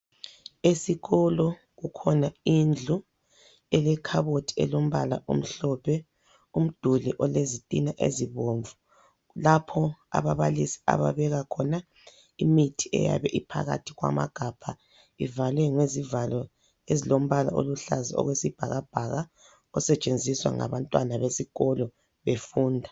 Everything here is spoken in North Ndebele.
Esikolo kukhona indlu elekhabothi elombala omhlophe, umduli olezitina ezibomvu lapho ababalisi ababeka khona imithi eyabe iphakathi kwamagabha ivalwe ngezivalo ezilombala oluhlaza okwesibhaka bhaka osetshenziswa ngabantwana besikolo befunda.